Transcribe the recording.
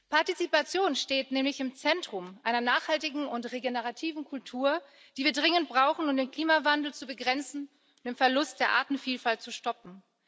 Partizipation steht nämlich im Zentrum einer nachhaltigen und regenerativen Kultur, die wir dringend brauchen, um den Klimawandel zu begrenzen und den Verlust der Artenvielfalt zu stoppen.